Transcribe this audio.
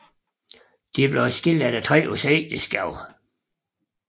De blev skilt efter tre års ægteskab